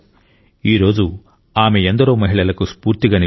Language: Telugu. ఈరోజు ఆమె ఎందరో మహిళలకు స్ఫూర్తిగా నిలిచారు